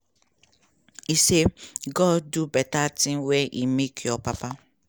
e say "god do beta tin wen e make your papa".